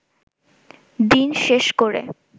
দিন শেষ করে